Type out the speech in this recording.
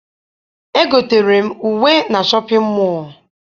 Egotere m uwe na shọpịn mọọ